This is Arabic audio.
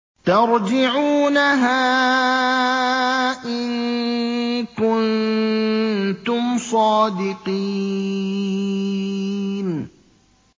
تَرْجِعُونَهَا إِن كُنتُمْ صَادِقِينَ